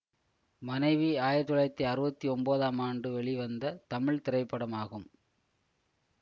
மனைவி ஆயிரத்தி தொள்ளாயிரத்தி அறுபத்தி ஒன்பதாம் ஆண்டு வெளிவந்த தமிழ் திரைப்படமாகும்